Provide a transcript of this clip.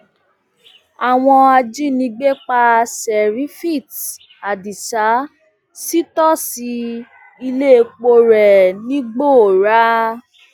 àwọn ajínigbé pa serifit adisa sítòsí iléepo rẹ nìgbòòrà